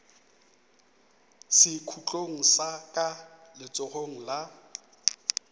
sekhutlong sa ka letsogong la